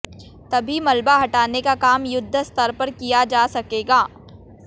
तभी मलबा हटाने का काम युद्ध स्तर पर किया जा सकेगा